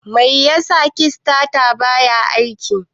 Mai yasa kistatar bata aiki?